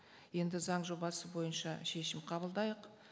енді заң жобасы бойынша шешім қабылдайық